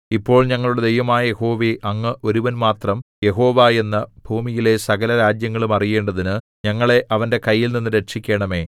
ഇപ്പോൾ ഞങ്ങളുടെ ദൈവമായ യഹോവേ അങ്ങ് ഒരുവൻ മാത്രം യഹോവ എന്നു ഭൂമിയിലെ സകലരാജ്യങ്ങളും അറിയേണ്ടതിന് ഞങ്ങളെ അവന്റെ കൈയിൽനിന്നു രക്ഷിക്കണമേ